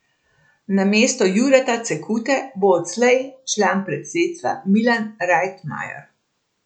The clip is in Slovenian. Namesto Jureta Cekute bo odslej član predsedstva Milan Rajtmajer.